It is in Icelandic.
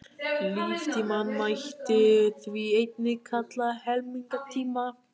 Líftímann mætti því einnig kalla helmingunartíma.